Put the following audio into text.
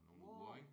Wow